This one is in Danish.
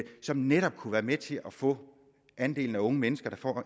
som netop kunne være med til at få andelen af unge mennesker der får